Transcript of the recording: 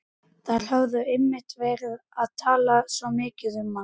Þær höfðu einmitt verið að tala svo mikið um hann.